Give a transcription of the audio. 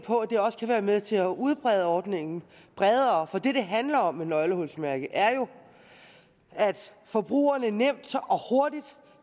det kan være med til at udbrede ordningen bredere for det det handler om med nøglehulsmærket er jo at forbrugerne nemt og hurtigt